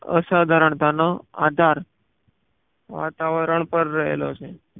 અસાધારણતા નો આધાર વાતાવરણ પર રહેલો છે